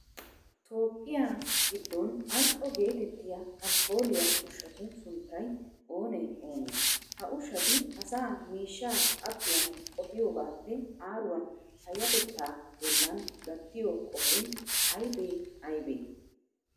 Toophphiya giddon al"o geetettiya alkkooliya ushshatu sunttay oonee oonee? Ha ushshati asaa miishshaa abbiyan qohiyogaappe aaruwan payyatettaa bollan gattiyo qohoy aybee aybee?